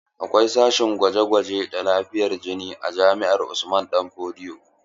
Akwai sashen gwaje-gwaje da lafiyar jini a jami'ar Usman danfodiyo.